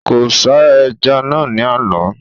Kò ṣá ẹja naa ni àná